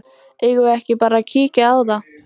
Eigum við ekki bara að kíkja á það?